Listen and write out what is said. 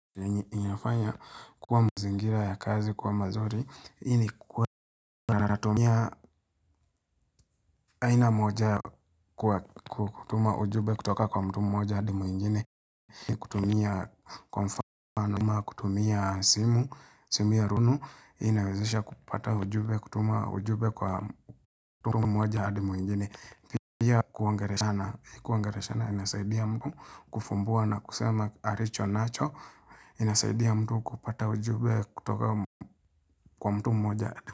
Kenye inafanya kwa mazingira ya kazi kuwa mazuri hii ni kwa wenye wanatumia aina moja kwa kutuma ujumbe kutoka kwa mtu mmoja adi mwingine, ni kutumia kwa mfano ama kutumia simu, simu ya rununu inawezesha kupata ujumbe, kutuma ujumbe kwa mtu mmoja adi mwingine, pia kuongeleshana. Kuongeleshana inasaidia mtu kufumbua na kusema alicho nacho inasaidia mtu kupata ujumbe kutoka kwa mtu mmoja.